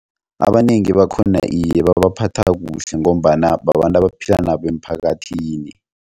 Abanengi bakhona iye babaphatha kuhle ngombana babantu abaphila nabo emphakathini.